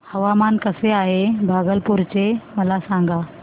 हवामान कसे आहे भागलपुर चे मला सांगा